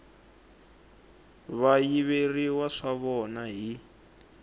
va yiveriwa swa vona hi